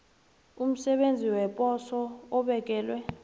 umsebenzi weposo obekelwe